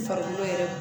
Farikolo yɛrɛ